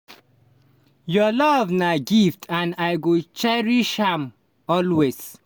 your love na gift and i go cherish am always.